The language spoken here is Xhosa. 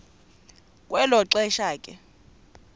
kwelo xesha ke